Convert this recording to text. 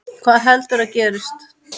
Hvað heldurðu að gerist?